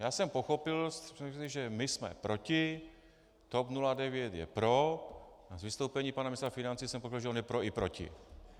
Já jsem pochopil, že my jsme proti, TOP 09 je pro a z vystoupení pana ministra financí jsem pochopil, že on je pro i proti.